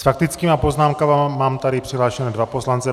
S faktickými poznámkami mám tady přihlášené dva poslance.